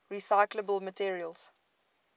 recyclable materials